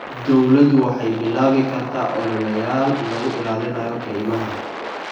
Dawladdu waxay bilaabi kartaa ololeyaal lagu ilaalinayo kaymaha.